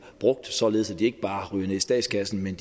brugt således at de ikke bare ryger ned i statskassen men